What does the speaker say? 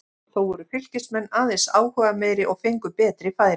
Þó voru Fylkismenn aðeins áhugameiri og fengu betri færi.